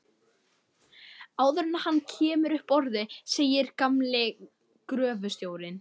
Áður en hann kemur upp orði segir gamli gröfustjórinn